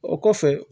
O kɔfɛ